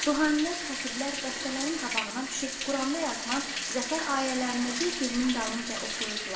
Ruhanilər, xətiblər dəstələrin qabağına düşüb Quranda yazılan zəfər ayələrini bir-birinin dalınca oxuyurdular.